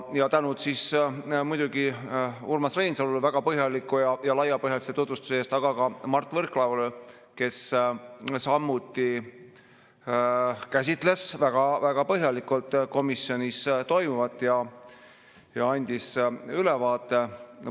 Ja tänu muidugi Urmas Reinsalule väga põhjaliku ja laiapõhjalise tutvustuse eest, aga ka Mart Võrklaevale, kes samuti käsitles väga põhjalikult komisjonis toimunut ja andis ülevaate.